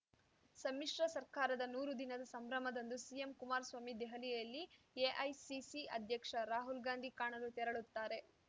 ಸಮ್ಮಿಶ್ರ ಸರ್ಕಾರದ ನೂರು ದಿನದ ಸಂಭ್ರಮದಂದು ಸಿಎಂ ಕುಮಾರಸ್ವಾಮಿ ದೆಹಲಿಯಲ್ಲಿ ಎಐಸಿಸಿ ಅಧ್ಯಕ್ಷ ರಾಹುಲ್‌ ಗಾಂಧಿ ಕಾಣಲು ತೆರಳುತ್ತಾರೆ